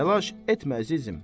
Təlaş etmə, əzizim.